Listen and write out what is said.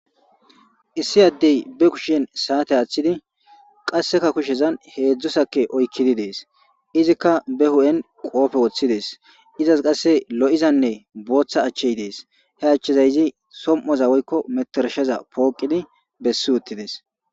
Issi adde ba kushen se'ate atidi qasseka kushshiyan hedzdzu maxaxe de'es izikka ba huppen qobbe woththides izas kasse lo'izanne boththa achchay de'es ha achchazi so'omozza woyikko meniterishsha poqidi besi uththides.